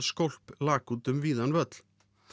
skólp lak út um víðan völl